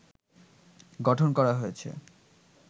গঠন করা হয়েছে